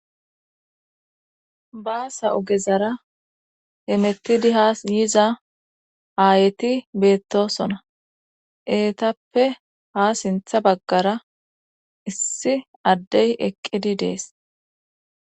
baasa ogezara hemettidi haa yiza aayeti beettosona eetappe ha sintha baggara issi addey eqqidi dees